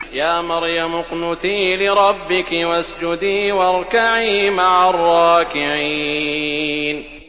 يَا مَرْيَمُ اقْنُتِي لِرَبِّكِ وَاسْجُدِي وَارْكَعِي مَعَ الرَّاكِعِينَ